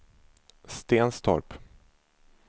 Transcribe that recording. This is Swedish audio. Stenstorp